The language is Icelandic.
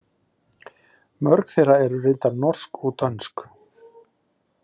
Mörg þeirra eru reyndar norsk og dönsk.